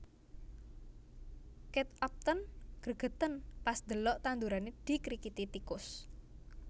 Kate Upton gregeten pas ndelok tandurane dikrikiti tikus